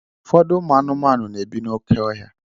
Ụfọdụ ụmụ anụmanụ na-ebi n'oké ọhịa.